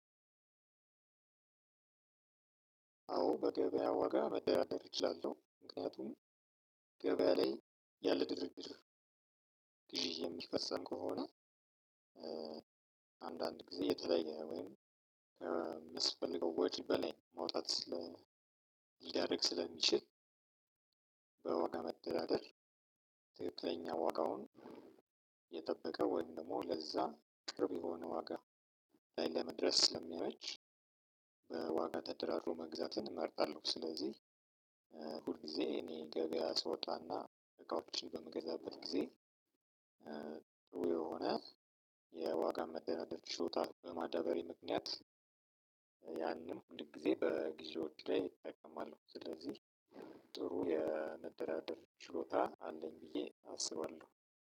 አዎ በገበያ ወጋ መደራደር እችላለሁ። ምክንያቱም ገበያ ላይ ያለ ድርድር ግዢ የሚፈጸም ከሆነ። አንዳንድ ጊዜ የተለየ ወይም የሚስበልገው ወጪ በላይ መውጣት ስለ ሊያደርግ ስለሚችል። በዋጋ መደራደር ትክክለኛ ዋጋውን የጠበቀውን ወይም ደግሞ ለዛ ቅርብ የሆነ ዋጋ ላይ ለመድረስ ስለሚያመች። በዋጋ ተደራርሮ መግዛትን እመርጣለሁ። ስለዚህ ሁል ጊዜ እኔ ገበያ ስወጣና እቃዎች በመገዛበት ጊዜ የሆነ የዋጋ መደራደር ችሎታ በማዳበሪ ምክንያት። ያንን ሁል ጊዜ በግዥዎች ላይ እጠቀማለሁ። ስለዚህ ጥሩ የመደራደር ችሎታ አለኝ ብዬ አስባለሁ።